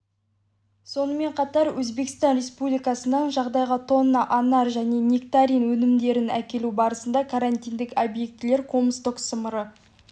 сонымен қатар өзбекстан республикасынан жағдайда тонна анар және нектарин өнімдерін әкелу барысында карантиндік объектілер комсток сымыры